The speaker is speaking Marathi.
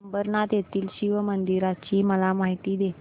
अंबरनाथ येथील शिवमंदिराची मला माहिती दे